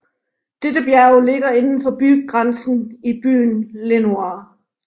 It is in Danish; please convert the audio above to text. Dette bjerg ligger inden for bygrænsen i byen Lenoir